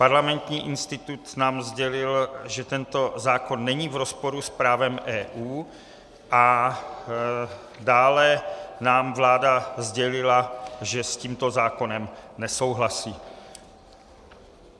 Parlamentní institut nám sdělil, že tento zákon není v rozporu s právem EU, a dále nám vláda sdělila, že s tímto zákonem nesouhlasí.